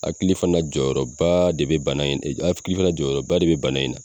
Hakili fana jɔyɔrɔba de bɛ bana hakili fana jɔyɔrɔba de bɛ bana in na.